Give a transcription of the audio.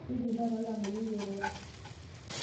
Keidim taata oltamwoyiai airoro.